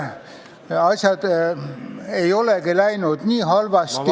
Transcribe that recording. Asjad ei olegi läinud nii halvasti ...